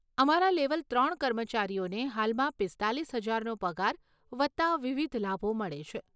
અમારા લેવલ ત્રણ કર્મચારીઓને હાલમાં પીસ્તાલીસ હજારનો પગાર વત્તા વિવિધ લાભો મળે છે.